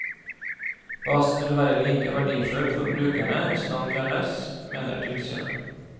Basen vil være like verdifull for brukerne hvis navn fjernes, mener tilsynet.